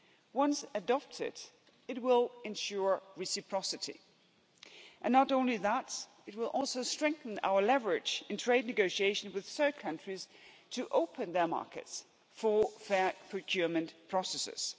Once adopted, it will ensure reciprocity and not only that, it will also strengthen our leverage in trade negotiations with third countries to open their markets for fair procurement processes.